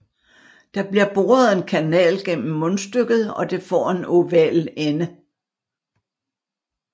Der bliver boret en kanal gennem mundstykket og det får en oval ende